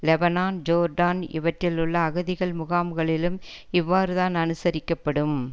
Lebanon Jordan இவற்றில் உள்ள அகதிகள் முகாம்களிலும் இவ்வாறுதான் அனுசரிக்கப்படும்